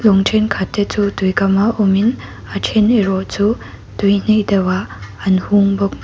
lawng thenkhat te chu tuikama awmin a then erawh chu tui hnaih deuh ah an hung bawk.